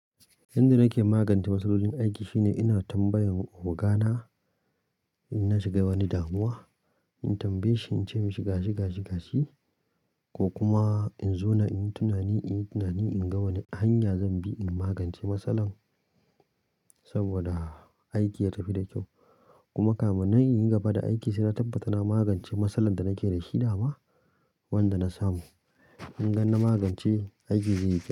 Yanda nake magance matsalolin aiki shine ina tambayan oga na inna shiga wani damuwa, in tambaye shi in ce mishi gashi gashi gashi ko kuma in zauna in yi tunani, in yi tunani in ga wani hanya zan bi in magance matsalan saboda aiki ya tafi da kyau. Kuma kamun nan in yi gaba da aiki sai na tabbata na magance matsalar da nake da shi dama wanda na samu. In gan na magance, aiki zai yi kyau.